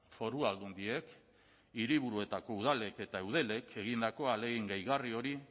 foru aldundiek eta hiriburuetako udalek eta eudelek egindako ahalegin gehigarri hori